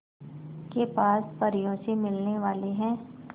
के पास परियों से मिलने वाले हैं